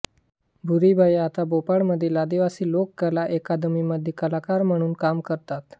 भूरीबाई आता भोपाळमधील आदिवासी लोककला अकादमी मध्ये कलाकार म्हणून काम करतात